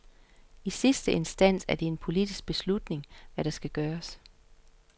I sidste instans er det en politisk beslutning, hvad der skal gøres.